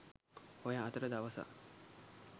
ඔය අතර දවසක්